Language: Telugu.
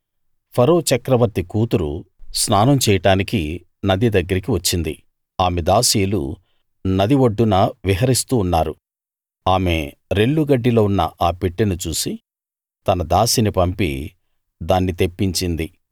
ఫరో చక్రవర్తి కూతురు స్నానం చేయడానికి నది దగ్గరికి వచ్చింది ఆమె దాసీలు నది ఒడ్డున విహరిస్తూ ఉన్నారు ఆమె రెల్లు గడ్డిలో ఉన్న ఆ పెట్టెను చూసి తన దాసిని పంపి దాన్ని తెప్పించింది